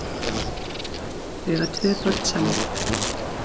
Þau eiga tvo börn saman